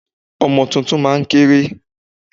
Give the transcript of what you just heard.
Ọmọ tuntun máa ń kéré.